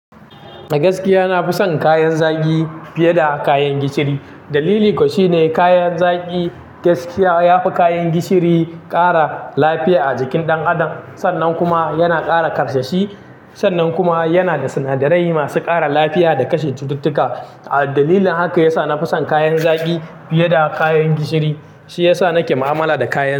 Gaskiya, na fi son kayan zaki fiye da kayan gishiri. Dalili kuwa shine kayan zaki gaskiya yafi kayan gishiri ƙara lafiya a jikin ɗan adam, sannan kuma yana ƙara ƙarsashi, sannan kuma yana da sinadarai masu ƙara lafiya da kashe cututtuka. A dalilin haka yasa na fi son kayan zaki fiye da kayan gishiri, shi yasa nake mu'amala da kayan.